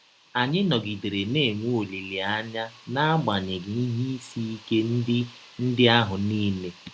Anyị nọgidere na - enwe ọlileanya n’agbanyeghị ihe isi ike ndị ndị ahụ niile.